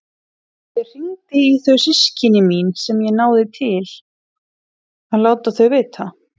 Ég hringdi í þau systkini mín sem ég náði í til að láta þau vita.